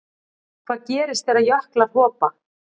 Hvað gerist þegar jöklar hopa?